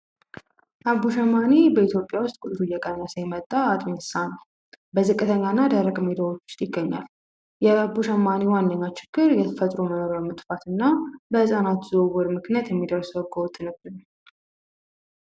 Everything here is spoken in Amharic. አቦ ሸማኔ በኢትዮጵያ ዉስጥ ቁጥሩ እየቀነሰ የመጣ አጥቢ እንስሳ ነዉ በዝቅተኛና ደረቅ ቦታወች ዉስጥ ይገኛል የአቦ ሸማኔ ዋነኛዉ ኝግር የተፈጥሮ በረሮ መጥፍትና በህጻናት ዝዉዉር ምክንያት የሚደርስ ህገወጥነት ነዉ።